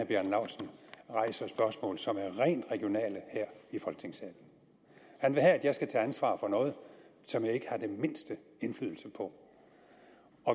bjarne laustsen rejser spørgsmål som er rent regionale her i folketingssalen han vil have at jeg skal tage ansvar for noget som jeg ikke har den mindste indflydelse på